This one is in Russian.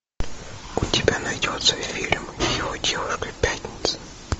у тебя найдется фильм его девушка пятница